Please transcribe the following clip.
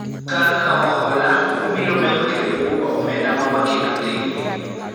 Kar kawo hola, wabiro medo kendo bugo omenda ma waketo thenge.